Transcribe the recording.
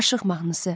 Aşıq mahnısı.